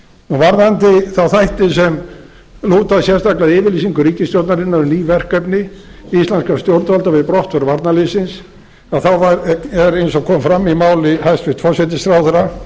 varðandi þá þætti sem lúta sérstaklega að yfirlýsingu ríkisstjórnarinnar um ný verkefni íslenskra stjórnvalda við brottför varnarliðsins þá er eins og kom fram í máli hæstvirts forsætisráðherra